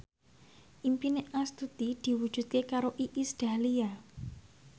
impine Astuti diwujudke karo Iis Dahlia